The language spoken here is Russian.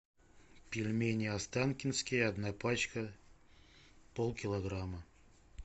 пельмени останкинские одна пачка полкилограмма